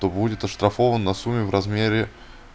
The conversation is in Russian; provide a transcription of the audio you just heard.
то будет оштрафована сумме в размере